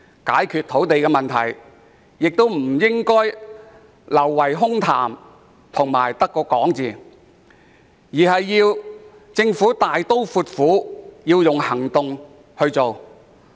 解決土地問題不應流於空談，政府應該大刀闊斧地採取行動。